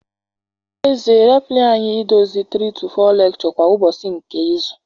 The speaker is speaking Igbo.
N'ezie reply anyị idozi 3-4 lectures kwa ụbọchị nke izu.